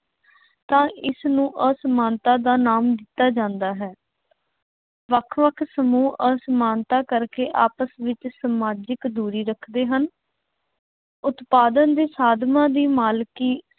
ਤਾਂ ਇਸਨੂੰ ਅਸਮਾਨਤਾ ਦਾ ਨਾਮ ਦਿੱਤਾ ਜਾਂਦਾ ਹੈ। ਵੱਖ ਵੱਖ ਸਮੂਹ ਅਸਮਾਨਤਾ ਕਰਕੇ ਆਪਸ ਵਿੱਚ ਸਮਾਜਿਕ ਦੂਰੀ ਰੱਖਦੇ ਹਨ। ਉਤਪਾਦਨ ਦੇ ਸਾਧਨਾਂ ਦੀ ਮਾਲਕੀ